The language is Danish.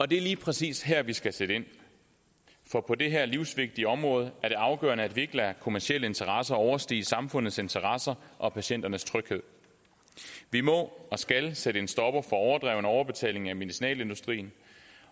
det er lige præcis her vi skal sætte ind for på dette livsvigtige område er det afgørende at vi ikke lader kommercielle interesser overstige samfundets interesser og patienternes tryghed vi må og skal sætte en stopper for overdreven overbetaling af medicinalindustrien